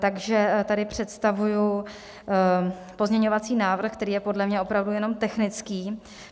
Takže tady představuji pozměňovací návrh, který je podle mě opravdu jenom technický.